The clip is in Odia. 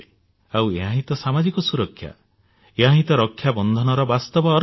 ଆଉ ଏହାହିଁ ତ ସାମାଜିକ ସୁରକ୍ଷା ଏହା ହିଁ ତ ରକ୍ଷାବନ୍ଧନର ବାସ୍ତବ ଅର୍ଥ